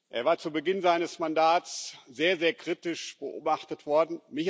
Er war zu Beginn seines Mandats sehr, sehr kritisch beobachtet worden.